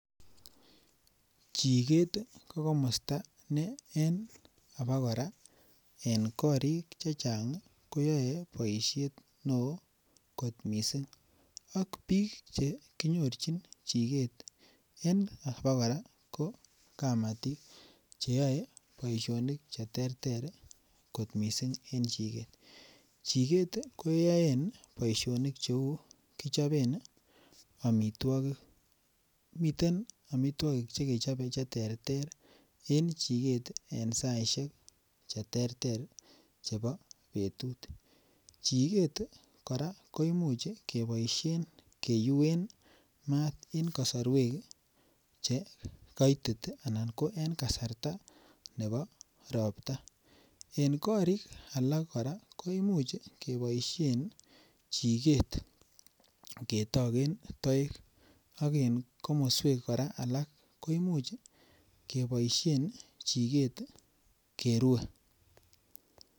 Chikeet ko komosta ne enkopokoraen korik chechang koyoei poishet neo kot mising ak piik chekinyorchini chikeet enkopo kora ko kamati yoe poishonik cheterter kot mising eng chiket. Chiket keyoen poishoni cheu kichapen amitwokik miten amitwokik chekechope che terter en chiket en saishek cheterter chebo petut chiket kora koimuch keboishen keiuen ana en kasorwek che koitit anan ko en kasarta nepo ropta en kori alak kora koimuch kepioshe chiket ketoken toek ak en komoswek alak kora koimuch kopoishe chiket kerue.